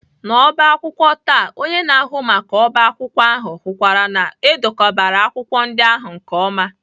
N'ọbá akwụkwọ taa onye na-ahụ maka ọbá akwụkwọ ahụ hụkwara na e dekọbara akwụkwọ ndị ahụ nke ọma